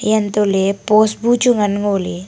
eya untohley post bu chu ngan ngoley.